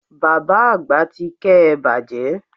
Bàbá Àgbà ti ké e bàjẹ́